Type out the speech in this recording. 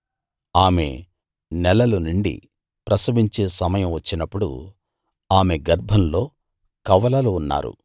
ఆమెకు నెలలు నిండి ప్రసవించే సమయం వచ్చినప్పుడు ఆమె గర్భంలో కవలలు ఉన్నారు